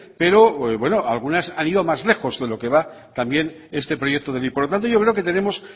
pero bueno algunas han ido más lejos de lo que va también este proyecto de ley por lo tanto yo creo que tenemos